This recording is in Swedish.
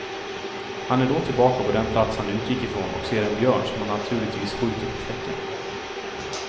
Han är då tillbaka på den plats han utgick ifrån och ser en björn som han naturligtvis skjuter på fläcken.